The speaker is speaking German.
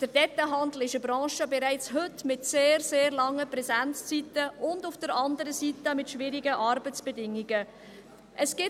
Der Detailhandel ist bereits heute eine Branche mit sehr, sehr langen Präsenzzeiten auf der einen Seite und mit schwierigen Arbeitsbedingungen auf der anderen Seite.